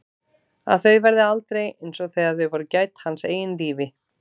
Að þau verði aldrei einsog þegar þau voru gædd hans eigin lífi.